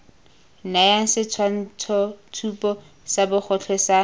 nayang setshwantshotshupo sa bogotlhe sa